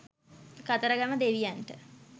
කතරගම දෙවියන්ට